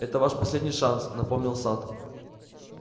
это ваш последний шанс напомнил сатт